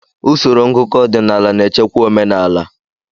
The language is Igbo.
Usoro ngụkọ ọdịnala na-echekwa omenala.